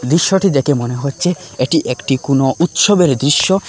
দিশ্যটি দেকে মনে হচ্চে এটি একটি কুনো উৎসবের দিশ্য ।